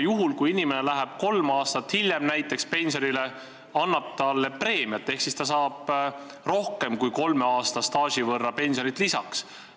Kui inimene läheb näiteks kolm aastat hiljem pensionile, annab kehtiv regulatsioon talle preemiat ehk ta saab rohkem kui kolme aasta pikkuse staaži võrra pensionit lisaks.